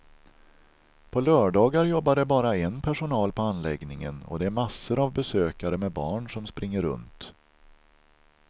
På lördagar jobbar det bara en personal på anläggningen och det är massor av besökare med barn som springer runt.